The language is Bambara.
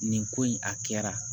Nin ko in a kɛra